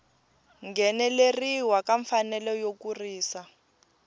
ngheneleriwa ka mfanelo yo kurisa